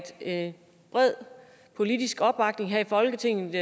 en bred politisk opbakning her i folketinget